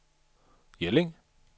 Jelling